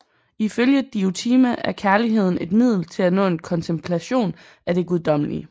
Ifølge Diotima er kærligheden et middel til at nå en kontemplation af det guddommelige